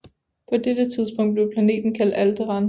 På dette tidspunkt blev planeten kaldt Alderaan